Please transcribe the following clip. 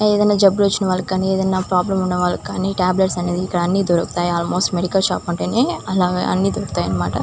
ఏదైనా జబ్బులు వచ్చిన వాళ్లకు గాని ఏదైనా ప్రాబ్లమ్స్ ఉన్న వాళ్ళకి గాని టాబ్లెట్స్ అనేవి ఇక్కడ దొరుకుతుంటాయి ఆల్మోస్ట్ మెడికల్ షాప్ అన్నట్టే అన్ని దొరుకుతాయి అన్నమాట.